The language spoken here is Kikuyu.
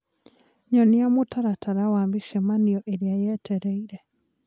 Nyonia mũtaratara wa mĩcemanio ĩrĩa yetereĩre